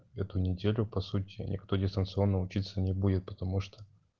эту неделю по сути никто дистанционно учиться не будет потому что